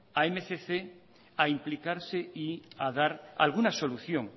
a mil doscientos a implicarse y a dar alguna solución